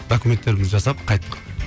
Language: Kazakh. документтерімізді жасап қайттық